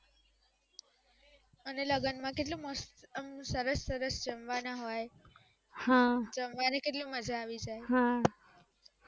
અને લગન માં કેટલું મસ્ત સરસ સરસ જમવાના હોય જમવાની કેટલી મજા આવી જાય